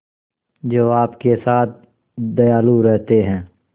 जो आपके साथ दयालु रहते हैं